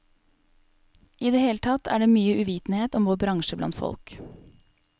I det hele tatt er det mye uvitenhet om vår bransje blant folk.